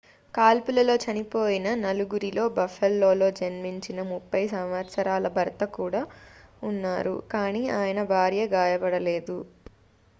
కాల్పులలో చనిపోయిన నలుగురిలో buffaloలో జన్మించిన 30 సంవత్సరాల భర్త కూడా ఉన్నారు కానీ ఆయన భార్య గాయపడలేదు